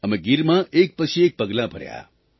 અમે ગીરમાં એક પછી એક પગલાં ભર્યા